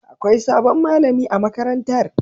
Akwai sabon malami a makarantar.